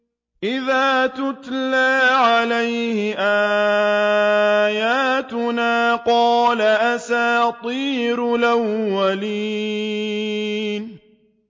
إِذَا تُتْلَىٰ عَلَيْهِ آيَاتُنَا قَالَ أَسَاطِيرُ الْأَوَّلِينَ